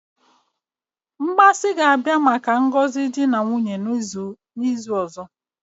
Mmasi ga-abia maka ngozi di na nwunye n'izu ozo?